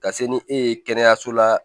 Ka se ni e ye kɛnɛyaso la